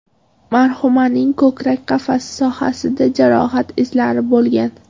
Marhumaning ko‘krak qafasi sohasida jarohat izlari bo‘lgan.